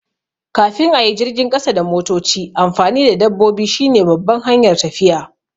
Kafin a yi jirgin ƙasa da motoci, amfani da dabbobi shine babban hanyar tafiya.